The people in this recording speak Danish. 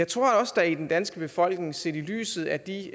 tror jeg også der i den danske befolkning set i lyset af de